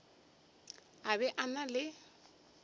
a be a na le